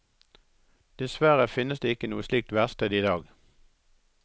Dessverre finnes det ikke noe slikt verksted i dag.